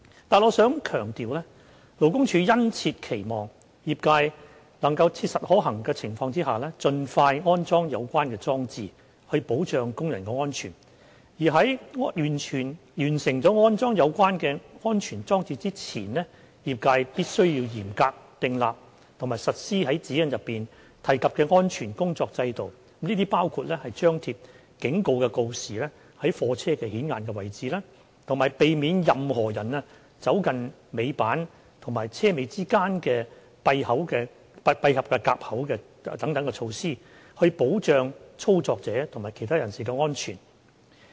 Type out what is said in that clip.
但我想強調，勞工處殷切期望業界能在切實可行的情況下盡快安裝有關裝置，以保障工人安全，而在完成安裝有關安全裝置前，業界必須嚴格訂立及實施在《指引》中提及的安全工作制度，包括張貼警告告示於貨車顯眼位置，以及避免任何人走近尾板與車尾之間的閉合夾口等措施，以保障操作者及其他人士的安全。